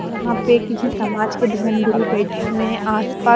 यहां पे किसी समाज के धर्म गुरु बैठे हुए हैं आसपास--